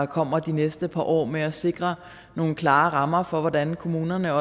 kommer de næste par år med at sikre nogle klare rammer for hvordan kommunerne